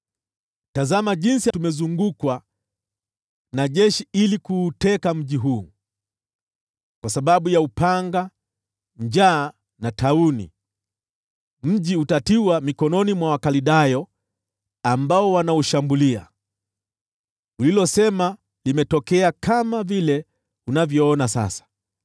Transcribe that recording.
“Tazama jinsi tumezungukwa na jeshi ili kuuteka mji huu. Kwa sababu ya upanga, njaa na tauni, mji utatiwa mikononi mwa Wakaldayo ambao wanaushambulia. Ulilosema limetokea kama vile unavyoona sasa.